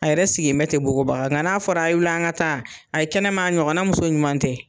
A yɛrɛ siginbɛ te bogobaga ŋa n'a fɔra a' ye wili an ŋa taa, ayi kɛnɛma a ɲɔgɔnna muso ɲuman tɛ.